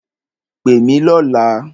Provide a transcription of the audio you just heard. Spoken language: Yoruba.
Pè mí lọ̀la!